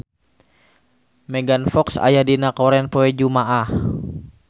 Megan Fox aya dina koran poe Jumaah